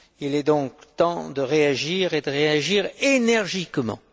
Il est donc temps de réagir, et de réagir énergiquement.